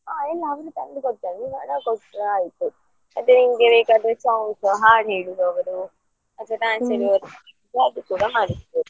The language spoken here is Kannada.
ಹಾ ಎಲ್ಲ ಅವ್ರೆ ತಂದು ಕೊಡ್ತಾರೆ ನೀವು ಹಣ ಕೊಟ್ರೆ ಆಯ್ತು ಮತ್ತೆ ನಿಮಗೆ ಬೇಕಾದ್ರೆ songs ಹಾಡು ಹೇಳುವವರು ಅಥವಾ fancy dress ಮಾಡಿಸಬೋದು.